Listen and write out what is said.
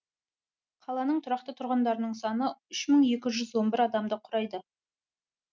қаланың тұрақты тұрғындарының саны үш мың екі жүз он бір адамды құрайды